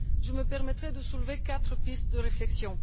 Je me permettrai de soulever quatre pistes de réflexion.